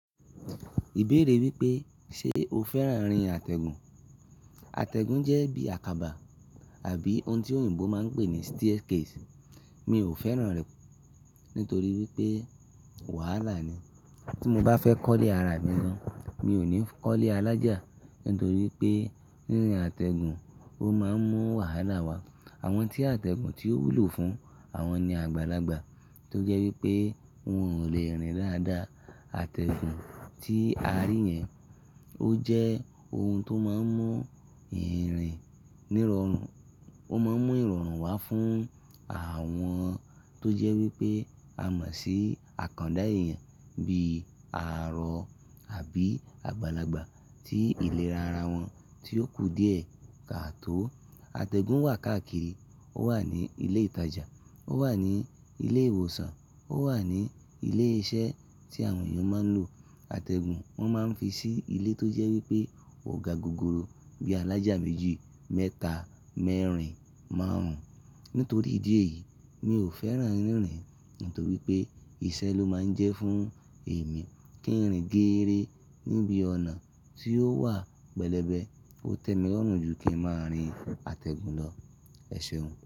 Ìbéèrè wípé ṣe o fẹ́ràn rín àtẹ̀gùn? Àtẹ̀gùn jẹ́ bí àkàbà àbí ohun tí òyìnbó máa ń pè ní staircase. Mi ò fẹ́ràn rẹ̀ nítorí wípé wàhálà ni. Tí mo bá fẹ́ kọ́lé ara mi ni, mi ò ní kọ́lé alájà nítorí pé rirín àtẹ̀gùn, ó máa ń mú wàhálà wá. Àwọn tí àtẹ̀gùn ti oo wúlò fún, àwọn ni àgbàlagbà tó jẹ́ wípé wọn ò lè rìn dáadáa. Àtẹ̀gùn tí a rí yẹn ó jẹ́ ohun tó máa ń mú ìrìn nirorun, ó máa ń mú ìrọ̀rùn wá fún àwọn tó jẹ́ wípé a mọ̀ sí àkàndá èèyàn bí àárọ̀ àbí àgbàlagbà tí ìlera ara wọn tí ó kù díè ká tó. Àtẹ̀gùn wà káàkiri, ó wà ní ilé ìtajà, ó wà ní ilé ìwòsàn, ó wà ní ilé iṣẹ́ tí àwọn èèyàn máa ń lò. Àtẹ̀gùn wọ́n máa ń fi sí ilé tó jẹ́ wípé ò ga gogoro bí alájà méjì, mẹ́ta, mẹ́rin, márùn-ún. Nítorí ìdí èyí, mi ò fẹ́ràn rìn nítorí pé iṣẹ́ ló máa ń jẹ́ fún èmi. Kí ń rìn géere níbi ọ̀nà tí ó wà pẹlẹbẹ, ó tẹ́mi lọ̀run jù kí ń máa rìn àtẹ̀gùn lọ. Ẹ ṣeun.